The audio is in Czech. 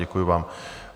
Děkuji vám.